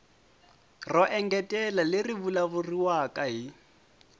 ro engetela leri vulavuriwaka hi